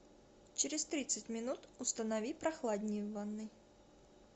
через тридцать минут установи прохладнее в ванной